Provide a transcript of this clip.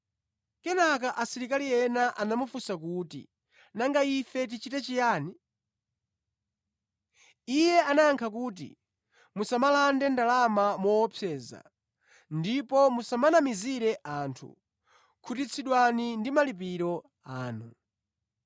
Kenaka asilikali ena anamufunsa kuti, “Nanga ife tichite chiyani?” Iye anayankha kuti, “Musamalande ndalama moopseza ndipo musamanamizire anthu, khutitsidwani ndi malipiro anu.”